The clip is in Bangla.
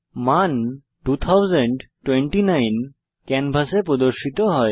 মান 2029 ক্যানভাসে প্রদর্শিত হয়